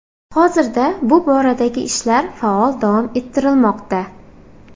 Hozirda bu boradagi ishlar faol davom ettirilmoqda.